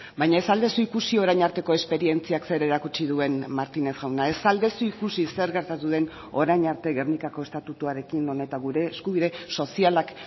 baina ez al duzu ikusi orain arteko esperientziak zer erakutsi duen martínez jauna ez al duzu ikusi zer gertatu den orain arte gernikako estatutuarekin non eta gure eskubide sozialak